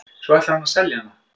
Svo ætlar hann að selja hana.